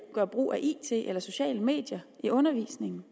gøre brug af it eller sociale medier i undervisningen